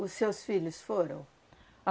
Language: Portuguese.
Os seus filhos foram?